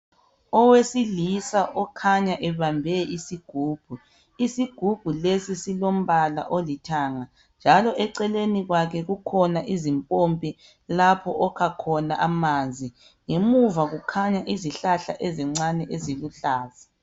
Owesilisa okhanya ebambe isigubhu, isigubhu lesi silombala olithanga njalo eceleni kwakhe kukhona izimpompi lapho okha khona amanzi ngemuva kukhanya izihlahla ezincane eziluhlaza.